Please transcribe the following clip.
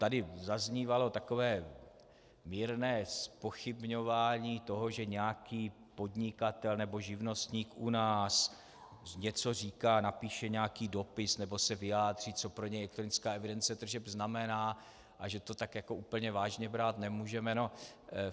Tady zaznívalo takové mírné zpochybňování toho, že nějaký podnikatel nebo živnostník u nás něco říká, napíše nějaký dopis nebo se vyjádří, co pro něj elektronická evidence tržeb znamená, a že to tak jako úplně vážně brát nemůžeme.